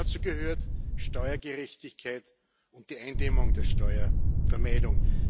Dazu gehören Steuergerechtigkeit und die Eindämmung der Steuervermeidung.